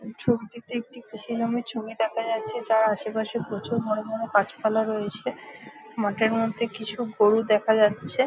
ছবিটিতে একটি কৃষি গ্রামের ছবি দেখা যাচ্ছে যার আসে পাশে প্রচুর বড় বড় গাছপালা রয়েছে। মাঠের মধ্যে কিছু গরু দেখা যাচ্ছ।